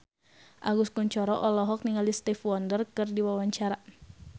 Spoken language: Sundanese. Agus Kuncoro olohok ningali Stevie Wonder keur diwawancara